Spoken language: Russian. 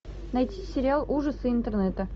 найти сериал ужасы интернета